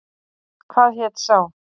Hvað hét sá?